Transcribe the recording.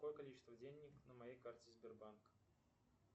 какое количество денег на моей карте сбербанк